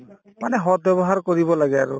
মানে সৎ ব্যৱহাৰ কৰিব লাগে আৰু